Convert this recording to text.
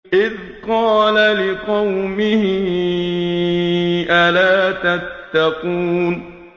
إِذْ قَالَ لِقَوْمِهِ أَلَا تَتَّقُونَ